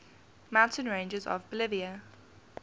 mountain ranges of bolivia